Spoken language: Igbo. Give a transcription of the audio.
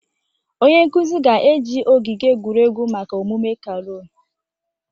Onye nkuzi ga-eji ogige egwuregwu maka omume carol